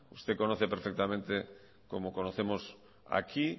usted conoce perfectamente como conocemos aquí